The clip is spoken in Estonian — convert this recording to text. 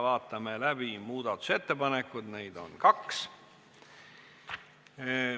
Vaatame läbi muudatusettepanekud, neid on kaks.